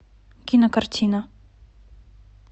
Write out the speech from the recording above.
кинокартина